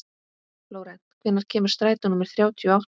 Flórent, hvenær kemur strætó númer þrjátíu og átta?